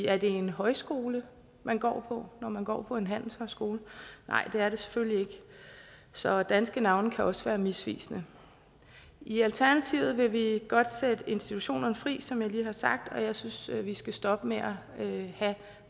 er det en højskole man går på når man går på en handelshøjskole nej det er det selvfølgelig ikke så danske navne kan også være misvisende i alternativet vil vi godt sætte institutionerne fri som jeg lige har sagt og jeg synes vi skal stoppe med